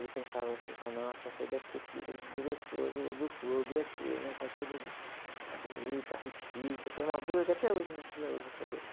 Ele pensava assim, falava, nossa, essa aí deve ser filha do diretor do, do clube aqui, né? Está toda, né? Bonita, hippie chique, eu tenho uma blusa que até hoje a minha filha usa essa blusa.